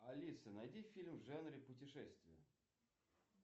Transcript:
алиса найди фильм в жанре путешествие